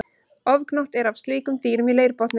Ofgnótt er af slíkum dýrum í leirbotni.